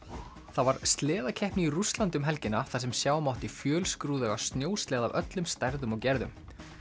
það var sleðakeppni í Rússlandi um helgina þar sem sjá mátti fjölskrúðuga snjósleða af öllum stærðum og gerðum